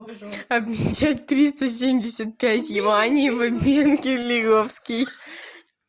обменять триста семьдесят пять юаней в обменке лиговский